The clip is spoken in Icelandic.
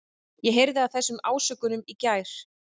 Ég heyrði af þessum ásökunum í gær.